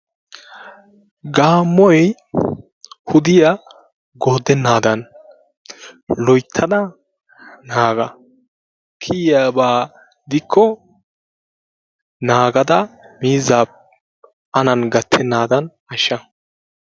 Gaaamoy wudiya goodenaadan naaga, kiyiyaba gidikko miizaa bochchenaadan an gatenaadan naaga.